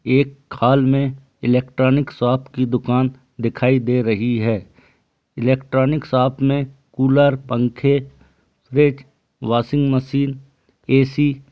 एक हॉल में electronic shop की दुकान दिखाई दे रही है इलेक्ट्रॉनिक शॉप में कूलर पंखे फ्रिज वाशिंग मशीन ऐ_सी --